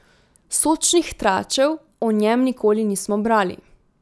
Sočnih tračev o njem nikoli nismo brali.